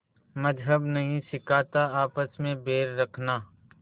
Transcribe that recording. मज़्हब नहीं सिखाता आपस में बैर रखना